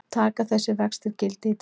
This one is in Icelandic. Taka þessir vextir gildi í dag